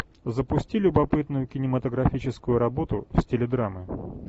запусти любопытную кинематографическую работу в стиле драма